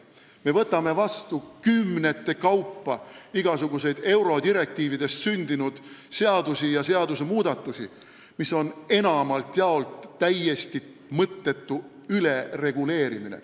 Me võtame kümnete kaupa vastu igasuguseid eurodirektiividest sündinud seadusi ja seadusmuudatusi, mis on enamalt jaolt täiesti mõttetu ülereguleerimine.